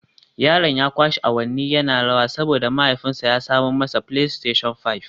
Yaron ya kwashe awanni yana rawa saboda mahaifinsa ya samo masa Playstation Five